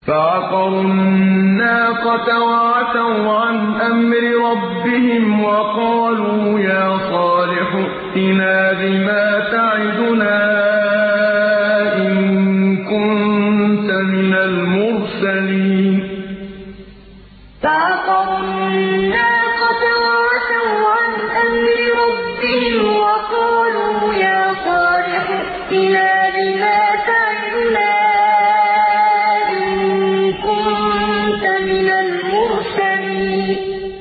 فَعَقَرُوا النَّاقَةَ وَعَتَوْا عَنْ أَمْرِ رَبِّهِمْ وَقَالُوا يَا صَالِحُ ائْتِنَا بِمَا تَعِدُنَا إِن كُنتَ مِنَ الْمُرْسَلِينَ فَعَقَرُوا النَّاقَةَ وَعَتَوْا عَنْ أَمْرِ رَبِّهِمْ وَقَالُوا يَا صَالِحُ ائْتِنَا بِمَا تَعِدُنَا إِن كُنتَ مِنَ الْمُرْسَلِينَ